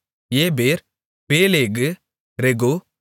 ஏபேர் பேலேகு ரெகூ